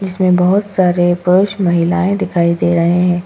इसमें बहुत सारे पुरुष महिलाएं दिखाई दे रहे हैं।